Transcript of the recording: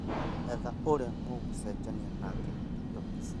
Etha ũrĩa mũgũchenjania nake indo ici